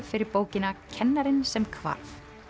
fyrir bókina kennarinn sem hvarf